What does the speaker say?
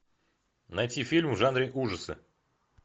найти фильм в жанре ужасы